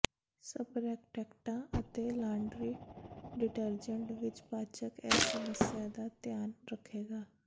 ਸਪਰੈਕਟੈਕਟਾਂ ਅਤੇ laundry detergent ਵਿਚ ਪਾਚਕ ਇਸ ਸਮੱਸਿਆ ਦਾ ਧਿਆਨ ਰੱਖੇਗਾ